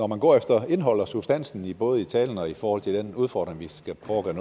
man går efter indholdet og substansen i både talen og i forhold til den udfordring vi skal prøve at